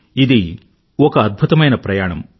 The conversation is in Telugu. ఇది ఒక అద్భుతమైన ప్రయాణం